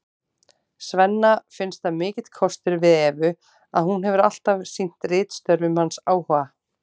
Svenna finnst það mikill kostur við Evu að hún hefur alltaf sýnt ritstörfum hans áhuga.